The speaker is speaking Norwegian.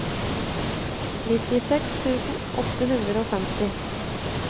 nittiseks tusen åtte hundre og femti